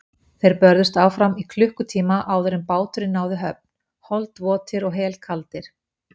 Þeir börðust áfram í klukkutíma áður en báturinn náði höfn, holdvotir og helkaldir.